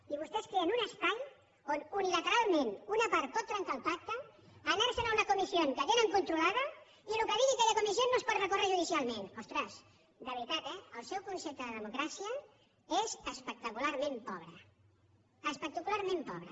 i vostès creen un espai on unilateralment una part pot trencar el pacte anarse’n a una comisión que tenen controlada i el que digui aquella comisiónostres de veritat eh el seu concepte de democràcia és espectacularment pobre espectacularment pobre